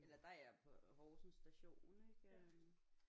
Eller der er jeg på Horsens station ik øh